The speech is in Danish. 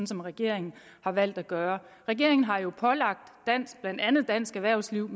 som regeringen har valgt at gøre regeringen har jo pålagt blandt andet dansk erhvervsliv